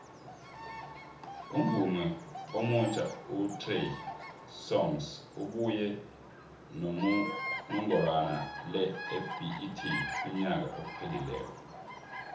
umvumi omutjha utrey songs ubuye nonomgorwana lebet unyaka ophalileko